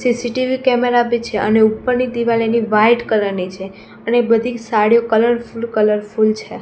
CCTV camera બી છે અને ઉપરની દીવાલ એની વ્હાઇટ કલર ની છે અને બધી સાડીઓ કલરફૂલ કલરફૂલ છે.